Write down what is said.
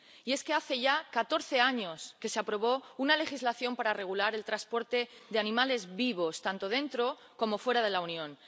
Y es que hace ya catorce años que se aprobó una legislación para regular el transporte de animales vivos, tanto dentro como fuera de la Unión.